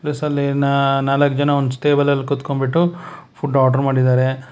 ಸಲೇನ ನಾಲ್ಕ್ ಜನ ಒಂದು ಟೇಬಲ್ ಕುತ್ಕೊಂಡ್ಬಿಟ್ಟು ಫುಡ್ ಆರ್ಡರ್ ಮಾಡಿದ್ದಾರೆ.